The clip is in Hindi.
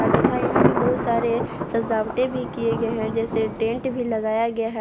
तथा यहां पे बहुत सारे सजावटे भी किए गए है जैसे टेंट भी लगाया गया हैं।